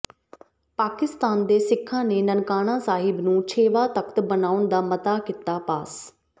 ਪਾਕਿਸਤਾਨ ਦੇ ਸਿੱਖਾਂ ਨੇ ਨਨਕਾਣਾ ਸਾਹਿਬ ਨੂੰ ਛੇਵਾਂ ਤਖਤ ਬਣਾਉਣ ਦਾ ਮਤਾ ਕੀਤਾ ਪਾਸ